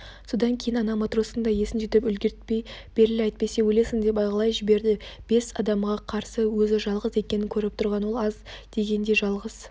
содан кейін ана матростың да есін жидырып үлгіртпей беріл әйтпесе өлесің деп айғайлап жіберді бес адамға қарсы өзі жалғыз екенін көріп тұрған ол аз дегендей жалғыз